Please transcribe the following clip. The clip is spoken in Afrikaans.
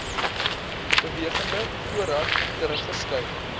bewegende voorraad teruggeskryf